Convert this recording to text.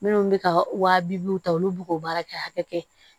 Minnu bɛ ka wa bi duuru ta olu b'o baara kɛ hakɛ kɛ